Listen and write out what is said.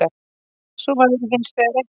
Svo væri hins vegar ekki